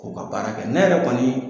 U ka baara kɛ ne yɛrɛ kɔni